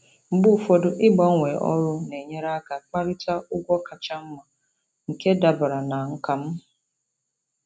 Mgbe ụfọdụ, ịgbanwee ọrụ na-enyere aka kparịta ụgwọ kacha mma nke dabara na nkà m.